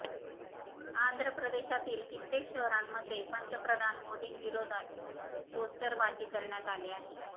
आंध्र प्रदेशातील कित्येक शहरांमध्ये पंतप्रधान मोदींविरोधात पोस्टरबाजी करण्यात आली आहे